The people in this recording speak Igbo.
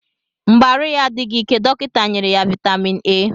Mgbe arụ ya adịghị ike dọkịta nyere ya vitamin A